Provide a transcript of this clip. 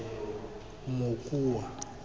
mokua